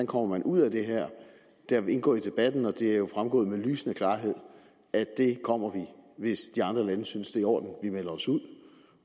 kommer ud af det her det er indgået i debatten og det er jo fremgået med lysende klarhed at det kommer vi hvis de andre lande synes i orden at vi melder os ud